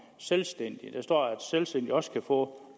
selvstændige der står at selvstændige også kan få